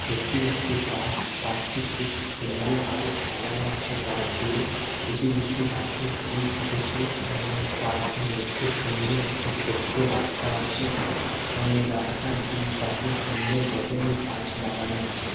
এটি একটি park park -টি খুব সুন্দরভাবে সাজানো আছে গাছ দিয়ে কিছু কিছু গাছে ফুল ফুটেছে এবং পার্ক -এর মধ্যে সুন্দর একটি ছোট্টো রাস্তা আছে এবং এই রাস্তার দুইপাশে সুন্দর ভাবে গাছ লাগানো আছে।